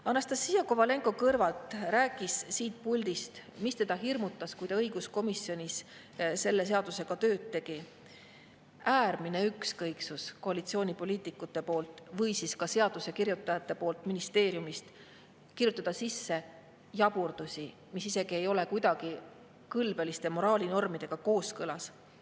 Anastassia Kovalenko-Kõlvart rääkis siit puldist sellest, mis teda hirmutas, kui ta õiguskomisjonis selle seadusega tööd tegi: äärmine ükskõiksus koalitsioonipoliitikute poolt või ka seadusekirjutajate poolt ministeeriumist, kirjutada sisse jaburdusi, mis ei ole isegi kõlbeliste ja moraalinormidega kuidagi kooskõlas.